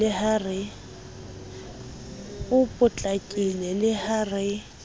a potlakile le ha re